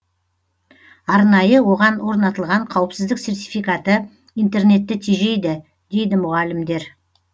арнайы оған орнатылған қауіпсіздік сертификаты интернетті тежейді дейді мұғалімдер